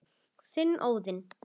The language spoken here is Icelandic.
Þinn, Óðinn.